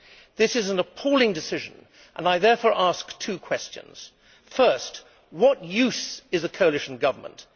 This is an appalling decision, and I therefore ask two questions. First, what use is the coalition government?